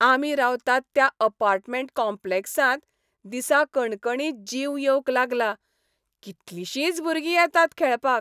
आमी रावतात त्या अपार्टमेंट कॉम्प्लेक्साक दिसाकणकणी जीव येवंक लागला, कितलिशींच भुरगीं येतात खेळपाक.